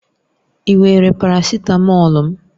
Ị were parasitamọ̀lu m?